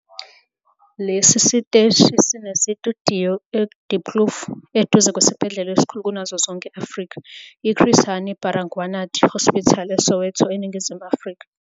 Lesi siteshi sinezitudiyo eDiepkloof, eduze kwesibhedlela esikhulu kunazo zonke e- Afrika, iChris Hani Baragwanath Hospital eSoweto, eNingizimu Afrika.